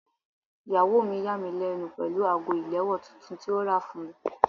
Ìyàwó mi yà mí lẹ́nu pẹ̀lú ago ìléwọ́ tuntun tí ó rà fún mi.